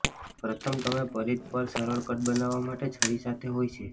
પ્રથમ તમે પરિઘ પર સરળ કટ બનાવવા માટે છરી સાથે હોય છે